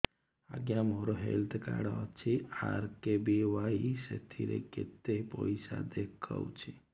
ଆଜ୍ଞା ମୋର health card ଅଛି ଆର୍.କେ.ବି.ୱାଇ ସେଥିରେ କେତେ ପଇସା ଦେଖଉଛି